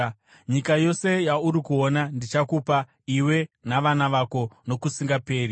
Nyika yose yauri kuona ndichakupa iwe navana vako nokusingaperi.